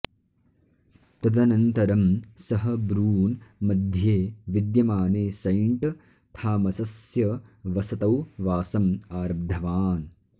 तदनन्तरं सः ब्रून् मध्ये विद्यमाने सैण्ट् थामसस्य वसतौ वासम् आरब्धवान्